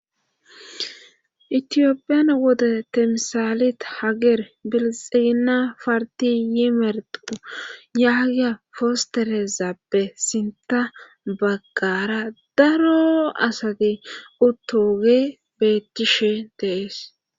Itiyophiyan wode temsaalit hager bilixina parti yimerqu yaagiya fosterezappe sinta baggara daro asati uttoge bettishe deees.